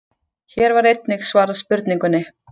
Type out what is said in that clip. Hér var einnig svarað spurningunni: